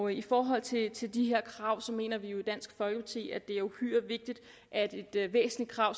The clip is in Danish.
i forhold til til de krav mener vi jo i dansk folkeparti at det er uhyre vigtigt at et væsentligt krav